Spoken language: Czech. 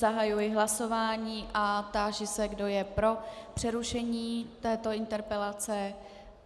Zahajuji hlasování a táži se, kdo je pro přerušení této interpelace.